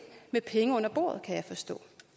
med penge under bordet kan jeg forstå